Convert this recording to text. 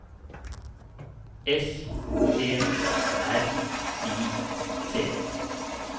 S P R I T